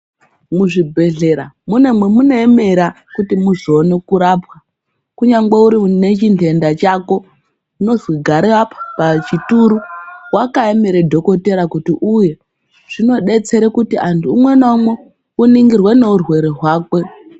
Muzvibhedhlera mune mamunoera kuti uzoona kurapwa unenge une chindenda chako unozi gare apo pachituru wakaemera dhokodheya kuti auye zvinodetsera kuti antu umwe na umwe uningirwe nemurwere hwakwe.